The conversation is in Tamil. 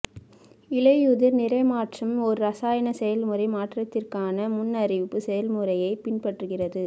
இலையுதிர் நிற மாற்றம் ஒரு இரசாயன செயல்முறை மாற்றத்திற்கான முன்னறிவிப்பு செயல்முறையை பின்பற்றுகிறது